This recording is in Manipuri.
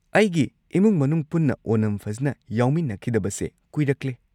ꯑꯩꯒꯤ ꯏꯃꯨꯡ ꯃꯅꯨꯡ ꯄꯨꯟꯅ ꯑꯣꯅꯝ ꯐꯖꯟꯅ ꯌꯥꯎꯃꯤꯟꯅꯈꯤꯗꯕꯁꯦ ꯀꯨꯏꯔꯛꯂꯦ꯫